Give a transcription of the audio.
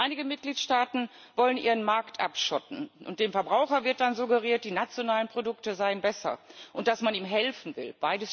Einige Mitgliedstaaten wollen ihren Markt abschotten, und dem Verbraucher wird dann suggeriert, die nationalen Produkte seien besser und dass man ihm helfen will.